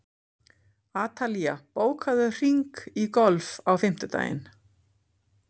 Atalía, bókaðu hring í golf á fimmtudaginn.